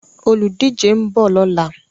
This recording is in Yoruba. Olùdíje ń bọ̀ lọ́la.